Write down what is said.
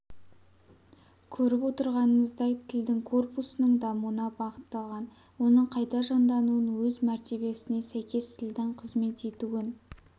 көріп отырғанымыздай тілдің корпусының дамуына бағытталған оның қайта жаңдануын өз мәртебесіне сәйкес тілдің қызмет етуін